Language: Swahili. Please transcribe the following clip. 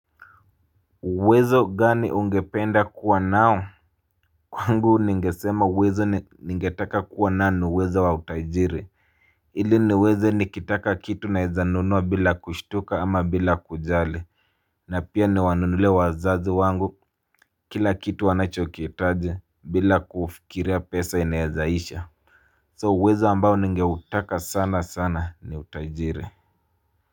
Uwezo gani ungependa kuwa nao? Kwangu ningesema uwezo ningetaka kuwa nao ni uwezo wa utajiri. Ili niweze nikitaka kitu naeza nunua bila kushtuka ama bila kujali na pia niwanunulie wazazi wangu kila kitu wanachokihitaji bila kufikiria pesa inaeza isha So uwezo ambao ningeutaka sana sana ni utajiri.